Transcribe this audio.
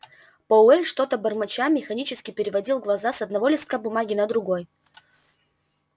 пауэль что-то бормоча механически переводил глаза с одного листка бумаги на другой